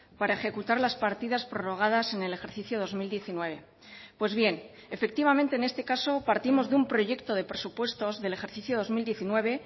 para ejecutar las partidas prorrogadas en el ejercicio dos mil diecinueve pues bien efectivamente en este caso partimos de un proyecto de presupuestos del ejercicio dos mil diecinueve